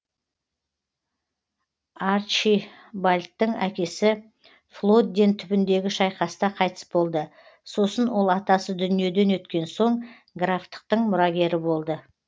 арчибальдтың әкесі флодден түбіндегі шайқаста қайтыс болды сосын ол атасы дүниеден өткен соң графтықтың мұрагері болды